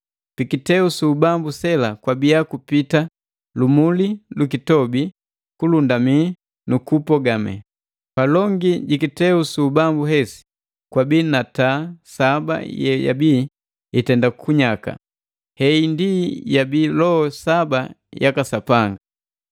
Pi kiteu su ubambu sela kwabia kupiti lumuli lwikitobi, kulundami na kubogame. Palongi jikiteu su ubambu hesi, kwabii na taa saba ye yabi itenda kunyaka. Hei ndi yabii loho saba yaka Sapanga.